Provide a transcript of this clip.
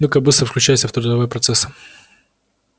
ну-ка быстро включайся в трудовой процесс